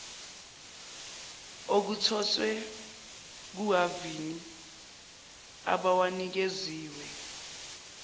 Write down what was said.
okuthoswe kuhhavini abawanikeziwe